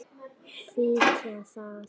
Svíkja það.